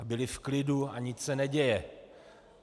A byly v klidu a nic se neděje.